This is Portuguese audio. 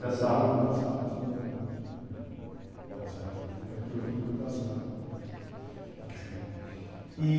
Da sala, Produtos da sala todos eles. Está certo produtos da sala da sala E